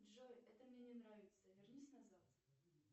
джой это мне не нравится вернись назад